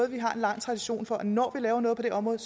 en lang tradition for at når vi laver noget på det område